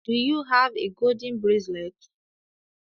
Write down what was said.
Do you have a golden bracelet?